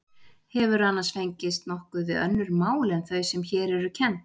Hefurðu annars fengist nokkuð við önnur mál en þau sem hér eru kennd?